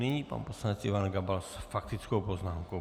Nyní pan poslanec Ivan Gabal s faktickou poznámkou.